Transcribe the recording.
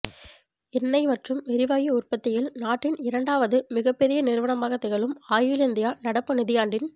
எண்ணெய் மற்றும் எரிவாயு உற்பத்தியில் நாட்டின் இரண்டாவது மிகப்பெரிய நிறுவனமாகத் திகழும் ஆயில் இந்தியா நடப்பு நிதியாண்டின்